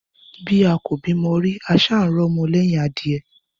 Bí a kò bímọ rí, a ṣáà ń rọ́mọ lẹ́hìn adìẹ?